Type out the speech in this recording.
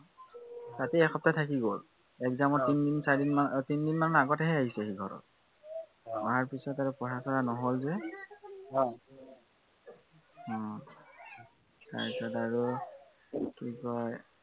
তাতে এসপ্তাহ থাকি গল, exam ৰ তিনিদিন চাৰিদিন আহ তিনদিন মানৰ আগতহে আহিছে সি ঘৰত আহ অহাৰ পিছত আৰু পঢ়া চঢ়া নহল যে, উম তাৰপিছত আৰু কি কয়,